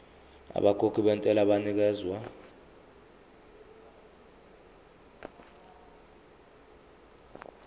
abakhokhi bentela banikezwa